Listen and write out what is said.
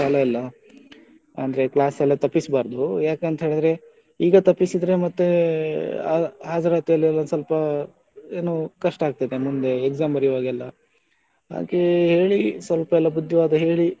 ಅಂದ್ರೆ class ಎಲ್ಲ ತಪ್ಪಿಸ್ಬಾರ್ದು ಯಾಕಂತ ಹೇಳಿದ್ರೆ ಈಗ ತಪ್ಪಿಸಿದ್ರೆ ಮತ್ತೆ ಆ ಹಾಜರಾತಿಯಲ್ಲೆಲ್ಲ ಸ್ವಲ್ಪ ಏನೋ ಕಷ್ಟ ಆಗ್ತದೆ ಮುಂದೆ exam ಬರಿವಾಗ ಎಲ್ಲ ಹಾಗೆ ಹೇಳಿ ಸ್ವಲ್ಪ ಎಲ್ಲ ಬುದ್ಧಿವಾದ ಹೇಳಿ,